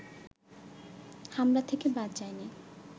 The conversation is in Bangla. হামলা থেকে বাদ যায়নি